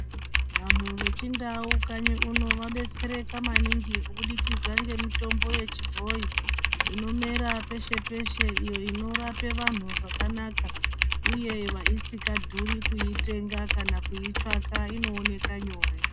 Vanhu vechindau kanyi uno vadetsereka maningi kubudikidza ngemitombo yechibhoyi inomera peshe-peshe iyo inorape vanhu zvakanaka uye isikadhuri kuitenga kana kuitsvaka inooneka nyore.